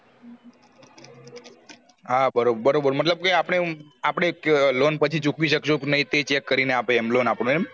હા બરોબર મતલબ કે અપડે આમ આપડે loan પછી ચૂકવી શકશું કે નહિ તે check કરી ને આપે એમ loan આપડે એમ